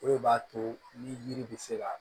O de b'a to ni yiri bɛ se ka